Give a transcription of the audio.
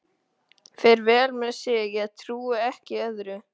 Fer vel með sig, ég trúi ekki öðru.